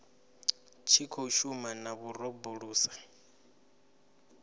tshi khou shuma na vhorabulasi